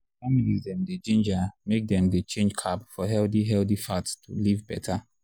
families dem dey ginger make dem change carb for healthy healthy fat to live better.